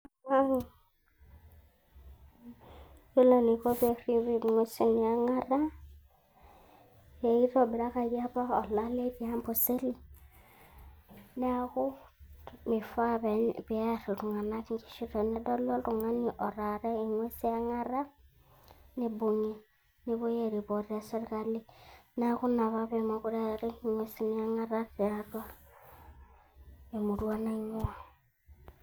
mmm ore enaiko peripi ingwesin eongota, eitobirakaki apa olale teaboseli niaku. meifaa peyar iltungana inkishu tenedoli oltungani otarra ingwesin eongota, neibungi nepuoi aripot teserkali niaku ina apa pemokire eari ingwesin eongota tiatua temurua naingua .